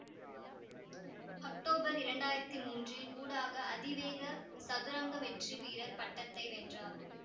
October இரண்டாயிரத்தி மூன்றில் ஊடாக அதிவேக சதுரங்க வெற்றிவீரர் பட்டத்தை வென்றார்